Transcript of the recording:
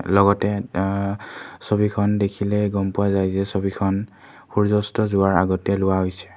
লগতে আহ ছবিখন দেখিলেই গম পোৱা যায় যে ছবিখন সূৰ্য্য অস্ত যোৱাৰ আগতে লোৱা হৈছে।